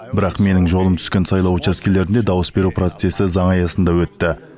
бірақ менің жолым түскен сайлау учаскелерінде дауыс беру процесі заң аясында өтті